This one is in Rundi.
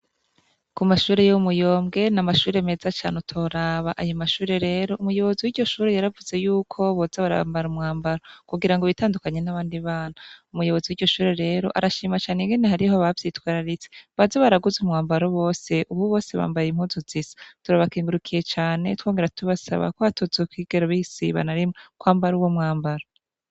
Kumashuri yo Muyombwe n'amashuri meza cane utoraba, ayo mashuri rero umuyobozi wiryo shuri yaravuze yuko boza barambara umwambaro kugirango bitandukanye nabandi bana, umuyobozi wiryo shure rero arashimira cane ingene hariho abavyitwararitse baza baraguze umwambaro bose, ubu bose bambaye impuzu zisa turabakengurukiye cane twongera tubasaba ko batazokwigera basiba na rimwe kwambara uwo mwambaro.